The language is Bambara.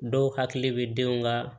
Dɔw hakili bɛ denw ka